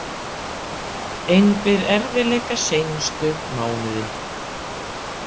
Engir erfiðleikar seinustu mánuði?